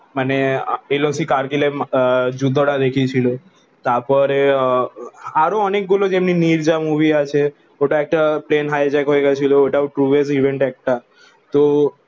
মানে LOC কারগিলের যুদ্ধ তা দেখিয়ে ছিল তার পরে আহ আরো অনেক গুলো যেমনি নির্জা মুভি আছে ওটা একটা প্লেন হাইজ্যাক হয়ে গেছিলো ট্রুইস্ট ইভেন্ট একটা তো